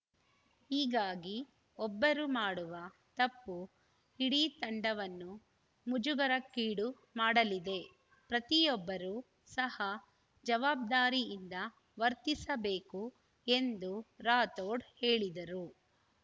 ಹೀಗಾಗಿ ಒಬ್ಬರು ಮಾಡುವ ತಪ್ಪು ಇಡೀ ತಂಡವನ್ನು ಮುಜುಗರಕ್ಕೀಡು ಮಾಡಲಿದೆ ಪ್ರತಿಯೊಬ್ಬರು ಸಹ ಜವಾಬ್ದಾರಿಯಿಂದ ವರ್ತಿಸಬೇಕು ಎಂದು ರಾಥೋಡ್‌ ಹೇಳಿದರು